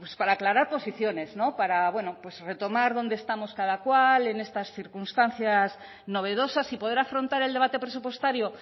para aclarar posiciones para retomar dónde estamos cada cual en estas circunstancias novedosas y poder afrontar el debate presupuestario